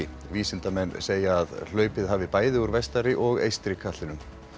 vísindamenn segja að hlaupið hafi bæði úr vestari og eystri katlinum